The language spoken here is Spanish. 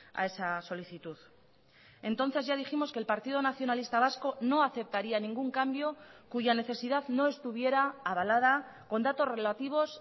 a esa solicitud entonces ya dijimos que el partido nacionalista vasco no aceptaría ningún cambio cuya necesidad no estuviera avalada con datos relativos